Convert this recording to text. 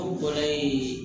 Aw bɔra yen